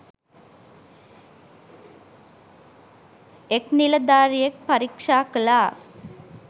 එක් නිලධාරියෙක් පරීක්ෂා කළා.